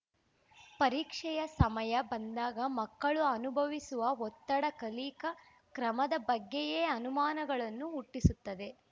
ಪರೀಕ್ಷೆಯ ಸಮಯ ಬಂದಾಗ ಮಕ್ಕಳು ಅನುಭವಿಸುವ ಒತ್ತಡ ಕಲಿಕಾ ಕ್ರಮದ ಬಗ್ಗೆಯೇ ಅನುಮಾನಗಳನ್ನು ಹುಟ್ಟಿಸುತ್ತದೆ